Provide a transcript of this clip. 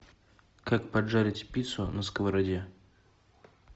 как поджарить пиццу на сковороде